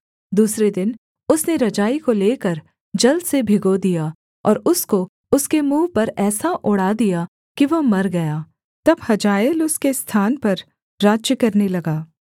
दूसरे दिन उसने रजाई को लेकर जल से भिगो दिया और उसको उसके मुँह पर ऐसा ओढ़ा दिया कि वह मर गया तब हजाएल उसके स्थान पर राज्य करने लगा